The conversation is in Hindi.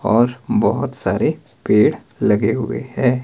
और बहोत सारे पेड़ लगे हुए हैं।